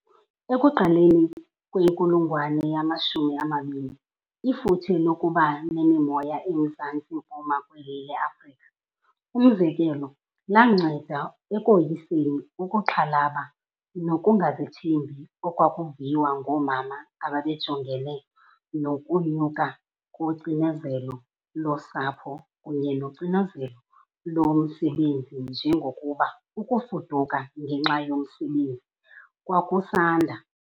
Ekuqaleni kwenkulungwane yamashumi amabini, ifuthe lokuba nemimoya emzantsi mpuma kweli leAfrrika, umzekelo, lwanceda ekoyiseni ukuxhalaba nokungazithembi okwakuviwa ngoomama ababejongene nokunyuka kocinezelo losapho kunye nocinezelo lomsebenzi njengokuba ukufuduka ngenxa yomsebenzi kwakusanda.